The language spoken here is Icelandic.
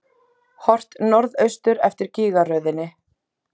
Horft norðaustur eftir gígaröðinni.